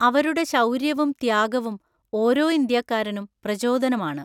അവരുടെശൗര്യവും, ത്യാഗവുംഓരോഇന്ത്യാക്കാരനും പ്രചോദനമാണ്.